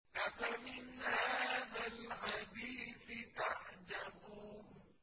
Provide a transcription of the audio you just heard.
أَفَمِنْ هَٰذَا الْحَدِيثِ تَعْجَبُونَ